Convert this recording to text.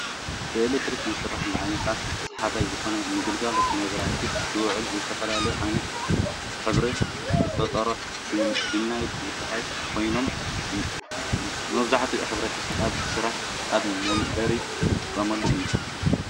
ብኤሌክትሪክ ዝሰርሕ ንዓይንኻ ሰሓባይ ዝኾነ ንግልጋሎት መብራህቲ ዝውዕሉ ዝተፈላለየ ዓይነት ሕብሪ ዝፈጥርሩ ዲም ላይት ዝበሃሉ ኮይኖም መብዛሕትኡ ሕ/ሰብ ኣብ ስራሕን ኣብ መንበርን ዝጥቀምሉ እዩ።